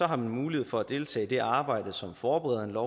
har man mulighed for at deltage i det arbejde som forbereder